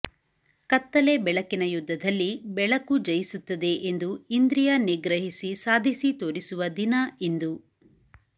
ಕತ್ತಲೆ ಬೆಳಕಿನ ಯುದ್ಧದಲ್ಲಿ ಬೆಳಕು ಜಯಿಸುತ್ತದೆ ಎಂದು ಇಂದ್ರಿಯ ನಿಗ್ರಹಿಸಿ ಸಾಧಿಸಿ ತೋರಿಸುವ ದಿನ ಇಂದು